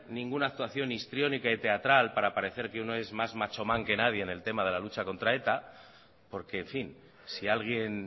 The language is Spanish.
ninguna actuación histriónica y teatral para parecer que uno es más machoman que nadie en el tema de la lucha contra eta porque en fin si alguien